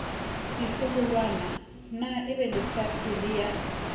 ditloholwana na ebelefatshe le ya